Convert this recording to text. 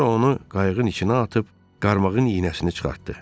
Sonra onu qayıqın içinə atıb qarmağın iynəsini çıxartdı.